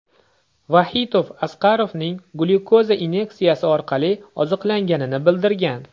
Vaxitov Asqarovning glyukoza inyeksiyasi orqali oziqlanganini bildirgan.